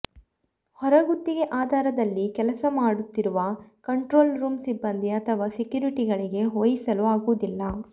ಹೊರಗುತ್ತಿಗೆ ಆಧಾರದಲ್ಲಿ ಕೆಲಸ ಮಾಡು ತ್ತಿರುವ ಕಂಟ್ರೋಲ್ ರೂಂ ಸಿಬ್ಬಂದಿ ಅಥವಾ ಸೆಕ್ಯೂರಿಟಿ ಗಳಿಗೆ ವಹಿಸಲು ಆಗುವುದಿಲ್ಲ